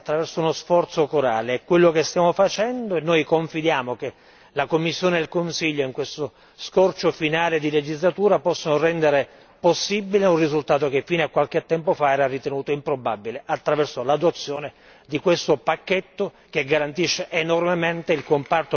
È quello che stiamo facendo e confidiamo che la Commissione e il Consiglio in questo scorcio finale di legislatura possano rendere possibile un risultato che fino a qualche tempo fa era ritenuto improbabile attraverso l'adozione di questo pacchetto che garantisce enormemente il comparto produttivo e le piccole e medie imprese.